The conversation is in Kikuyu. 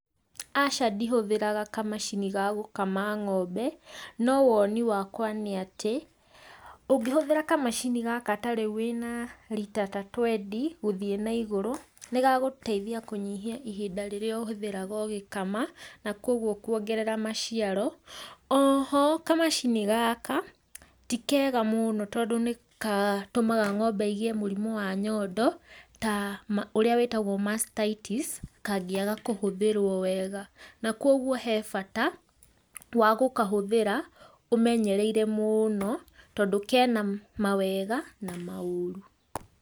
Aca ndihũthĩraga kamacini ga gũkama ng'ombe, no woni wakwa nĩ atĩ ũngĩhũthĩra kamacini gaka ta rĩu wĩna rita ta twendi gũthie na igũrũ nĩgagũteithia kũnyihia ihinda rĩrĩa ũhũthagĩra ũgĩkama, na koguo kuongerera maciaro, oho kamacini gaka ti kega tondũ nĩgatũmaga ng'ombe igĩe mũrimũ wa nyondo ũrĩa wĩtagwo mastitis kangĩaga kũhũthĩrwo wega na koguo he bata wa gũkahũthĩra ũmenyereire mũno tondũ kena mawega na maũru.